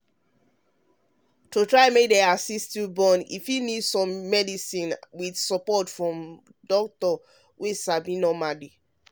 to try make them assist you born e fit need some medicine with support from doctor wey sabi normally